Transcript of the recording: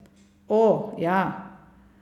O, ja.